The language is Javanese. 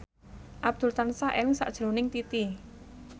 Abdul tansah eling sakjroning Titi